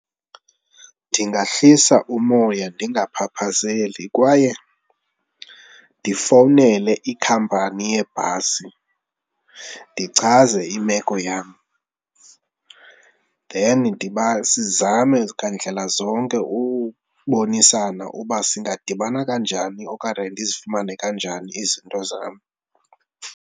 Ndingahlisa umoya ndingaphaphazeli kwaye ndifowunele ikhampani yeebhasi ndichaze imeko yam then sizame ngandlela ukubonisana uba singadibana kanjani okunye ndizifumane kanjani izinto zam.